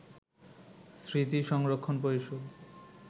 স্মৃতি সংরক্ষণ পরিষদ